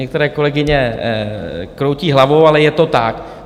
Některé kolegyně kroutí hlavou, ale je to tak.